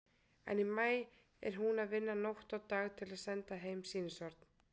En í maí er hún að vinna nótt og dag til að senda heim sýnishorn.